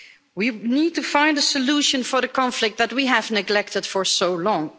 We need to find a solution for the conflict that we have neglected for so long.